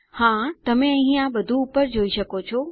હા તમે આ બધું અહીં ઉપર જોઈ શકો છો